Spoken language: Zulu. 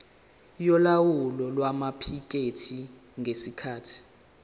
yolawulo lwamaphikethi ngesikhathi